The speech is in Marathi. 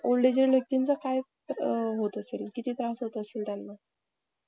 काय करणारे आता ? पण आता गव्हर्नमेंट जेवढ्या योजना काढतो तेवढ्या ठीक आहे